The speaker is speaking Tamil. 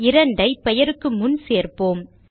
2 ஐ பெயருக்கு முன் சேர்ப்போம்